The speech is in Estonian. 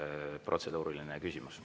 Üks protseduuriline küsimus.